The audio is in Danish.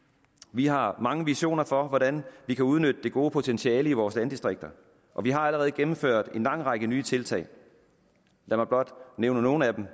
vi har mange visioner for hvordan vi kan udnytte det gode potentiale i vores landdistrikter og vi har allerede gennemført en lang række nye tiltag lad mig blot nævne nogle af dem